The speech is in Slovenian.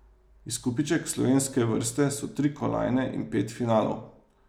Izkupiček slovenske vrste so tri kolajne in pet finalov.